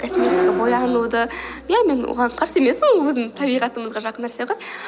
косметика боянуды ия мен оған қарсы емеспін өзімнің табиғатымызға жақын нәрсе ғой